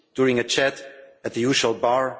during a chat at the usual bar